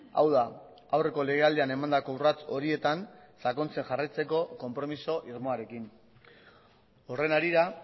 hau da aurreko lege aldian emandako urrats horietan sakontzen jarraitzeko konpromiso irmoarekin horren harira